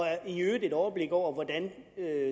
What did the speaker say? i øvrigt et overblik over hvordan